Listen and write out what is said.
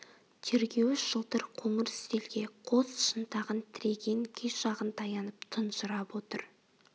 тергеуіш жылтыр қоңыр үстелге қос шынтағын тіреген күй жағын таянып тұнжырап отыр